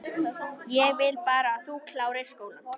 Ég vil bara að þú klárir skólann